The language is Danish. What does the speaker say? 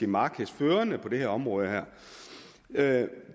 markedsførende på det område her det